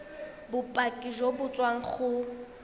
bopaki jo bo tswang go